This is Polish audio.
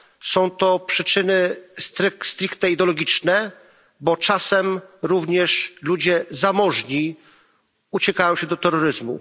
Są to przyczyny ideologiczne, bo czasem również ludzie zamożni uciekają się do terroryzmu.